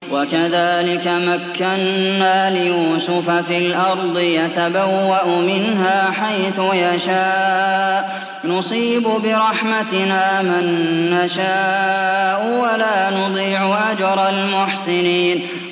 وَكَذَٰلِكَ مَكَّنَّا لِيُوسُفَ فِي الْأَرْضِ يَتَبَوَّأُ مِنْهَا حَيْثُ يَشَاءُ ۚ نُصِيبُ بِرَحْمَتِنَا مَن نَّشَاءُ ۖ وَلَا نُضِيعُ أَجْرَ الْمُحْسِنِينَ